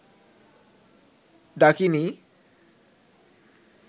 ডাকিণী